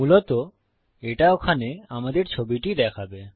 মূলত এটা ওখানে আমাদের ছবিটি দেখাবে